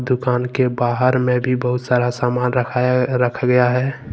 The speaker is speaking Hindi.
दुकान के बाहर में भी बहुत सारा सामान रखाया रखा गया है।